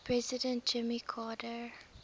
president jimmy carter